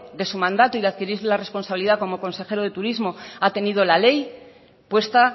de su mandato y de que adquiriese la responsabilidad como consejero de turismo ha tenido la ley puesta